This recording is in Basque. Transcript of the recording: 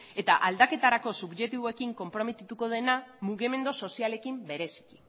eta aldaketarako subjektiboekin konprometituko dena mugimendu sozialekin bereziki